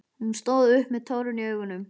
Hann stóð upp með tárin í augunum.